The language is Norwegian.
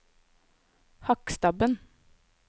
Hakkstabben